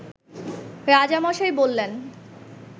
রাজামশাই বললেন